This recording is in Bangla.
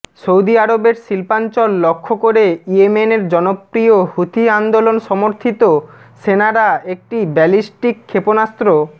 সৌদি আরবের শিল্পাঞ্চল লক্ষ্য করে ইয়েমেনের জনপ্রিয় হুথি আন্দোলন সমর্থিত সেনারা একটি ব্যালিস্টিক ক্ষেপণাস্ত্র